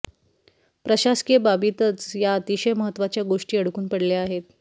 प्रशासकीय बाबींतच या अतिशय महत्त्वाच्या गोष्टी अडकून पडल्या आहेत